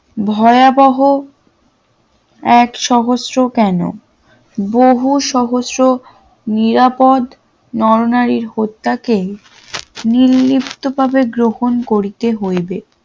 ভয়াবহ এক সহস্র কেন বহু সহস্র নিরাপদ নর-নারীর হত্যাকে নির্লিপ্তভাবে গ্রহণ করিতে হইবে